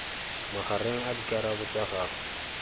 magareng a dikarabo tsa gago